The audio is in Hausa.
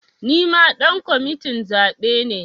Nima ɗan kwamitin zaɓe ne